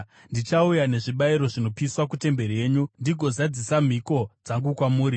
Ndichauya nezvibayiro zvinopiswa kutemberi yenyu, ndigozadzisa mhiko dzangu kwamuri,